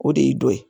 O de y'i dɔ ye